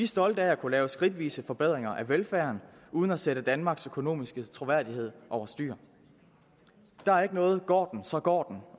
stolte af at kunne lave skridtvise forbedringer af velfærden uden at sætte danmarks økonomiske troværdighed over styr der er ikke noget går den så går